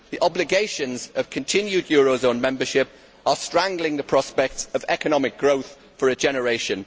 The obligations of continued eurozone membership are strangling the prospects of economic growth for a generation.